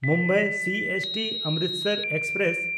Mumbai CST-Amritsar express